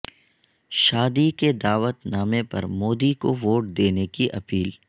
شادی کے دعوت نامہ پر مودی کو ووٹ دینے کی اپیل